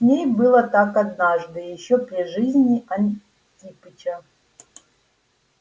с ней было так однажды ещё при жизни антипыча